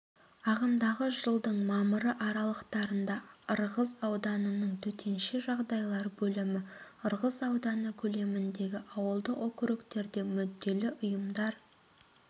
ағымдағы жылдың мамыры аралықтарында ырғыз ауданының төтенше жағдайлар бөлімі ырғыз ауданы көлеміндегі ауылдық округтерде мүдделі ұйымдар